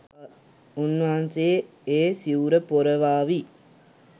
උන්වහන්සේ ඒ සිවුර පොරවාවි.